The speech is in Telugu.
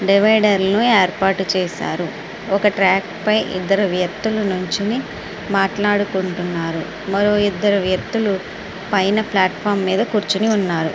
డివైడర్ లు ఏర్పాటు చేశారు. ఒక ట్రాక్ పైన ఇద్దరు వ్యక్తులు నించొని మాట్లాడుకుంటున్నారు. మరో ఇద్దరు వ్యక్తులు ప్లాట్ఫామ్ పైనకూర్చుని ఉన్నారు.